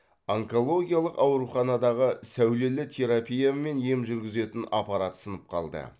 онкологиялық ауруханадағы сәулелі терапиямен ем жүргізетін аппарат сынып қалды